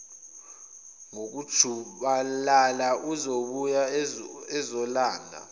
ngokujubalala uzobuya ezolanda